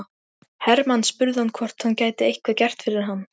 Hermann spurði hann hvort hann gæti eitthvað gert fyrir hann.